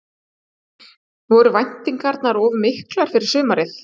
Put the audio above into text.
Voru væntingarnar of miklar fyrir sumarið?